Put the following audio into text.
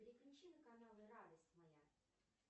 переключи на канал радость моя